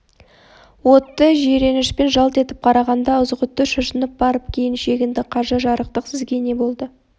отты жиренішпен жалт етіп қарағанда ызғұтты шошынып барып кейін шегінді қажы жарықтық сізге не болды